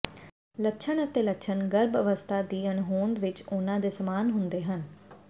ਲੱਛਣ ਅਤੇ ਲੱਛਣ ਗਰਭ ਅਵਸਥਾ ਦੀ ਅਣਹੋਂਦ ਵਿਚ ਉਹਨਾਂ ਦੇ ਸਮਾਨ ਹੁੰਦੇ ਹਨ